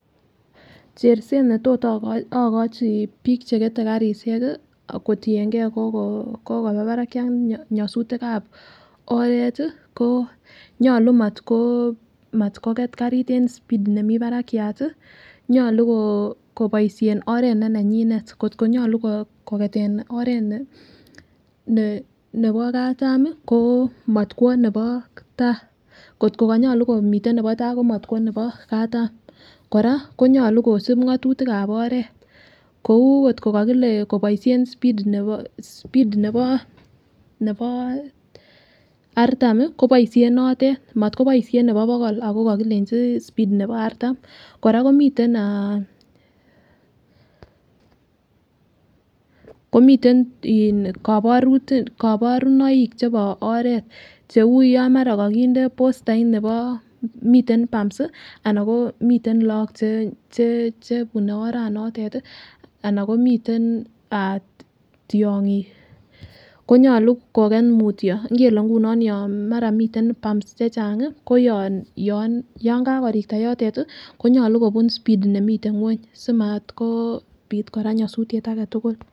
Cherset netot ikochi bik chekete karishek kii kotiyengee kokoba barakiat nyosutikab oret tii ko nyolu motko motko katit en speed nemii barakiat nyolu koo koboishen oret ne nenyinet kotko nyolu kiketen oret ne oret nebo katami ko motkwo nebo tai kotko konyolu komiten nebo tai ko motkwo nebo katam. Koraa konyolu kosib ngotutikab oret kou kotko kokile koboishen speed nebo speed nebo nebo artami koboishen notet motoboishen nebo bokol ako kokilenji speed nebo artam. Koraa komiten ah komiten kiboru koborunoik chebo oret cheu yon mara kokinde postait nebo miten pumbs ana ko miten Lok che bune oranitet tii ana komiten ah tyongik konyolu koget mutyo Ingele nguno yon mara miten pumbs chechangi koyon yon kakorikta yotet tii konyolu kobun speed nemiten ngwony simat kopit Koraa nyosutyet agetukul.